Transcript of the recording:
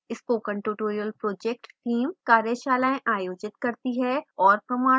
spoken tutorial project team कार्यशालाएँ आयोजित करती है और प्रमाणपत्र देती है